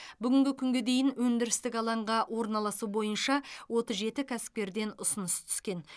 бүгінгі күнге дейін өндірістік алаңға орналасу бойынша отыз жеті кәсіпкерден ұсыныс түскен